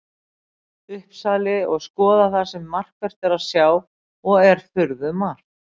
Uppsali og skoða það sem markvert er að sjá, og er furðumargt.